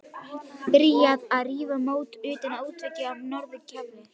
Byrjað að rífa mót utan af útveggjum á norður gafli.